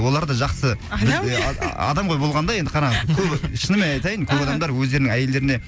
олар да жақсы адам ғой болғанда енді қараңыз көбі шынымен айтайын көп адамдар өздерінің әйелдеріне